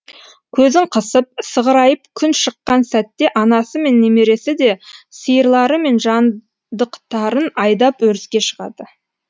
көзін қысып сығырайып күн шыққан сәтте анасы мен немересі де сиырлары мен жандықтарын айдап өріске шығады